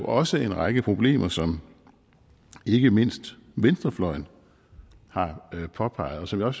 også en række problemer som ikke mindst venstrefløjen har påpeget og som jeg